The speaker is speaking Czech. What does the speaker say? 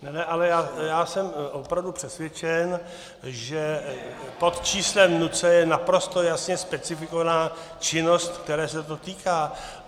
Ne, ne, ale já jsem opravdu přesvědčen, že pod číslem NACE je naprosto jasně specifikována činnost, které se to týká.